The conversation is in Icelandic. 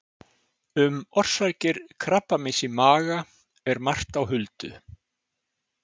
Um orsakir krabbameins í maga er margt á huldu.